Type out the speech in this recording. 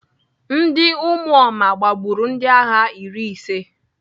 Ndị ụmụoma gbagburu ndịagha iri ise.